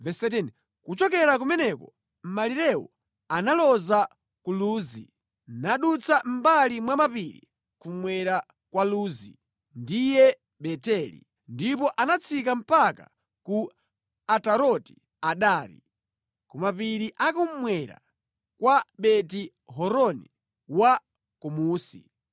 Kuchokera kumeneko malirewo analoza ku Luzi nadutsa mʼmbali mwa mapiri kummwera kwa Luzi (ndiye Beteli) ndipo anatsika mpaka ku Ataroti Adari, ku mapiri a kummwera kwa Beti-Horoni wa Kumunsi.